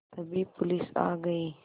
तभी पुलिस आ गई